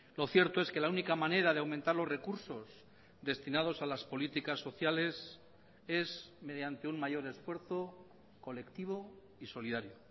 lo cierto es que la única manera de aumentar los recursos destinados a las políticas sociales es mediante un mayor esfuerzo colectivo y solidario